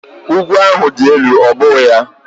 Ugwu ahụ dị elu, ọ́ bụghị ya?